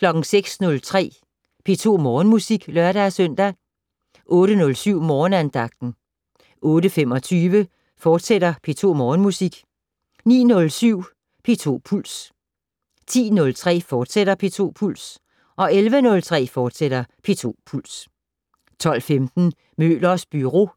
06:03: P2 Morgenmusik (lør-søn) 08:07: Morgenandagten 08:25: P2 Morgenmusik, fortsat 09:07: P2 Puls 10:03: P2 Puls, fortsat 11:03: P2 Puls, fortsat 12:15: Møllers Byro